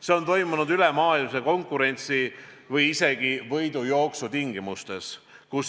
See on toimunud ülemaailmse konkurentsi või isegi võidujooksu tingimustes.